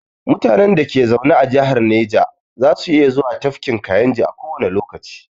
Mutanen da ke zaune a jihar naja za su iya zuwa tafkin kayinji a kowane lokaci